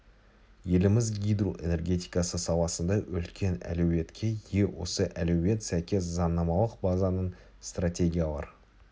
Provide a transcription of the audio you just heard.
еліміз гидро энергетикасы саласында үлкен әлеуетке ие осы әлеует сәйкес заңнамалық базаның стратегиялар